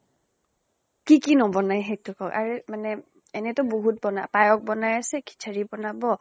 কি কি নবনায় সেইটো কওঁক, আৰু মানে এনেটো বহুত বনায়। পায়স বনাই আছে, খিচাৰী বনাব